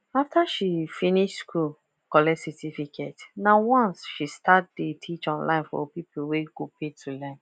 after she finish school collect certificate nah once she start dey teach online for people wey go pay to learn